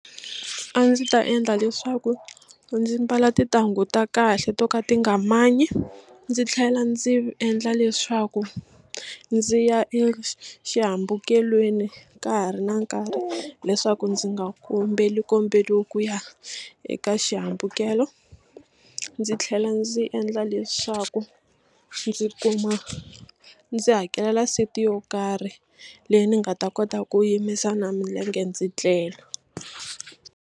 A ndzi ta endla leswaku ndzi mbala tintangu ta kahle to ka ti nga manyi ndzi tlhela ndzi endla leswaku ndzi ya exihambukelweni ka ha ri na nkarhi leswaku ndzi nga kombelikombeli ku ya eka xihambukelo ndzi tlhela ndzi endla leswaku ndzi kuma ndzi hakelela seat yo karhi leyi ni nga ta kota ku yimisa na milenge ndzi tlela.